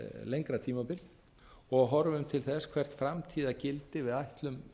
lengra tímabil og horfum til þess hvert framtíðargildi við ætlum